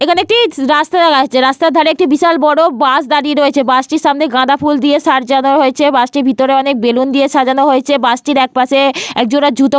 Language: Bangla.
এখানে একটি রাস্তা দেখা যাচ্ছে। রাস্তার ধারে একটি বিশাল বড় বাস দাঁড়িয়ে রয়েছে। বাস টির সামনে গাঁদা ফুল দিয়ে সাজানো হয়েছে। বাস টির ভিতরে অনেক বেলুন দিয়ে সাজানো হয়েছে। বাস টির একপাশে একজোড়া জুতো--